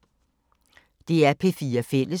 DR P4 Fælles